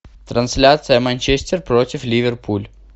трансляция манчестер против ливерпуль